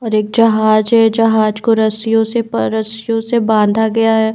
और एक जहाज है जहाज को रस्सियों से रस्सियों से बांधा गया है।